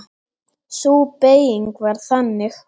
Sú beyging var þannig